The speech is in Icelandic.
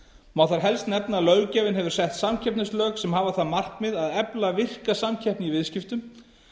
má þar helst nefna að löggjafinn hefur sett samkeppnislög sem hafa það markmið að efla virka samkeppni í viðskiptum